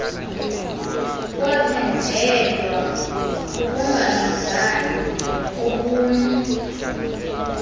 kwaphenjelelwa kukungalingani ngokobuni